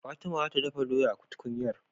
Fatima zata dafa doya a tukunyar